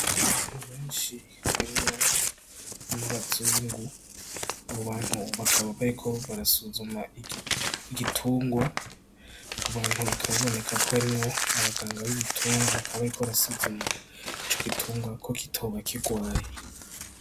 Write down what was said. Abantu benshi harimwo n'abazungu , abo bantu bakaba bariko barasuzuma igitungwa, abo bantu bikaba biboneka ko harimwo abaganga bibitungwa bakaba bariko barasuzuma ico gitungwa ko kitoba kirwaye.